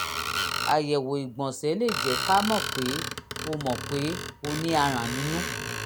àyẹ̀wò ìgbọ̀nsẹ̀ lè jẹ́ ká mọ̀ pé o mọ̀ pé o ní aràn inú